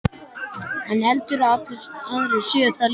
Hann heldur að allir aðrir séu það líka.